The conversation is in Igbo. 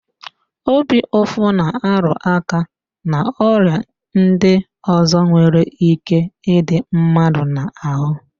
Obi ụfụ na-arụáká n'ọrịa ndị ọzọ nwere íké ịdị mmadụ n'ahụ